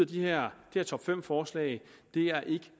de her top fem forslag er ikke